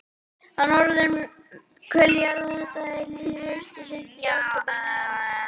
Á norðurhveli jarðar gerist þetta þegar líður á haustið, seint í október, nóvember og desember.